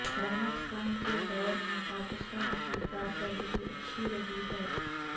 رحمت خان کے دور میں پاکستان کی کارکردگی اچھی رہی ہے